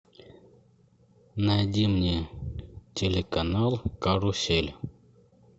найди мне телеканал карусель